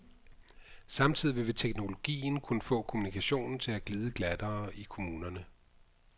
Samtidig vil teknologien kunne få kommunikationen til at glide glattere i kommunerne.